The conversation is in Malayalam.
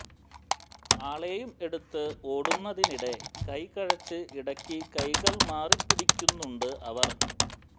ആളെയും എടുത്ത് ഓടുന്നതിനിടെ കൈ കഴച്ച് ഇടക്ക് കൈകൾ മാറിപ്പിടിക്കുന്നുണ്ട് അവർ